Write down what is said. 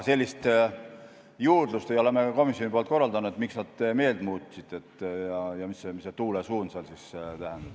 Sellist juurdlust me ei ole komisjonis korraldanud, miks nad meelt muutsid ja mida see tuulesuund tähendab.